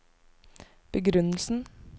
begrunnelsen